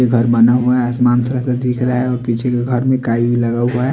यह घर बना हुआ आसमान का का दिख रहा है और पीछे के घर में टाइल भी लगा हुआ है।